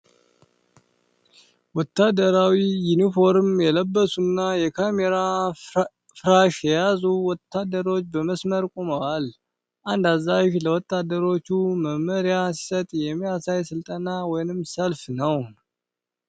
ወታደራዊ ዩኒፎርም የለበሱና የካሜራ ፍራሽ የያዙ ወታደሮች በመስመር ቆመዋል። አንድ አዛዥ ለወታደሮቹ መመሪያ ሲሰጥ የሚያሳይ ሥልጠና ወይም ሰልፍ ነው ።